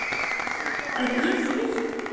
Er ég þreyttur?